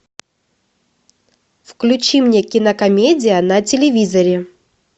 включи мне кинокомедия на телевизоре